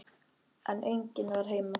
En enginn var heima.